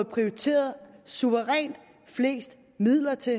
prioriteret suverænt flest midler til